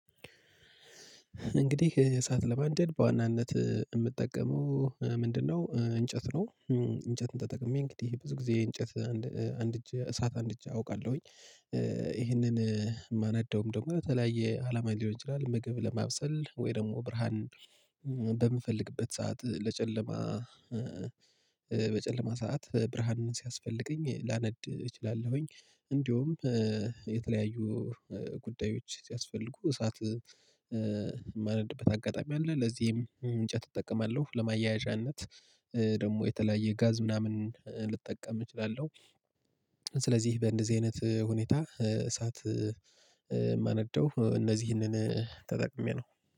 እንግዲህ እሳት ለማንደድ በዋናነት የምጠቀመው ምንድነው? እንጨት ነው። እንጨትን ተጠቅሜ እንግዲህ ብዙ ጊዜ እንጨት አንድ እጅ እሳት አንድጄ አውቃለሁኝ። ይሄንን የማነደውም ደግሞ ለተለያየ አላማ ሊሆን ይችላል ምግብ ለማብሰል ወይ ደግሞ ብርሃን። በምፈልግበት ሰዓት ለጨለማ በጨለማ ሰዓት ብርሃንን ሲያስፈልገኝ ላነድ እችላለሁኝ። እንደውም የተለያዩ ጉዳዮች ሲያስፈልጉ እሳት ማነድበት አጋጣሚ አለ። ለዚህም እንጨት እጠቀማለሁ ለማያያዣነት ደግሞ የተለያየ ጋዝ ምናምን ልጠቀም እችላለሁ። ስለዚህ በእንደዚህ አይነት ሁኔታ እሳት የማነደው እነዚህንን ተጠቅሜ ነው